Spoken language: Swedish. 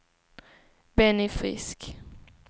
Benny Frisk